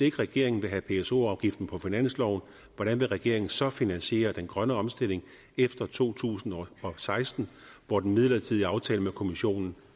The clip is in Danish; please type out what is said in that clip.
ikke regeringen vil have pso afgiften på finansloven hvordan vil regeringen så finansiere den grønne omstilling efter to tusind og seksten hvor den midlertidige aftale med kommissionen